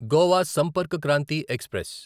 Goa Sampark Kranti express